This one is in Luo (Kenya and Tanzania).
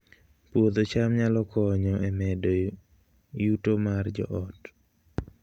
Puodho cham nyalo konyo e medo yuto mar joot